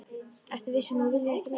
Ertu viss um að þú viljir ekki neitt?